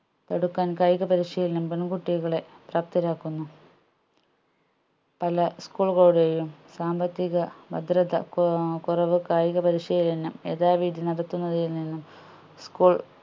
തടുക്കാൻ കായിക പരിശീലനം പെൺകുട്ടികളെ ശക്തരാക്കുന്നു പല school കളുടെയും സാമ്പത്തിക ഭദ്രത കോ ഏർ കൊറവ് കായിക പരിശീലനം യഥാവിധി നടത്തുന്നതിൽ നിന്നും